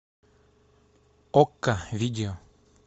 окко видео